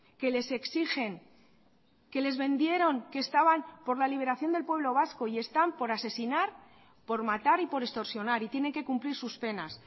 que les exigen que les vendieron que estaban por la liberación del pueblo vasco y están por asesinar por matar y por extorsionar y tienen que cumplir sus penas